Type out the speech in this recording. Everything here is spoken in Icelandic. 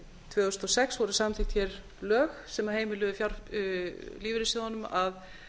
tvö þúsund og sex voru samþykkt hér lög sem heimiluðu lífeyrissjóðunum að